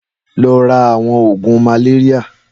Lọ rà awọn ógún màlérìá